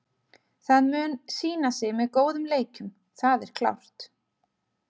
Það mun sýna sig með góðum leikjum, það er klárt.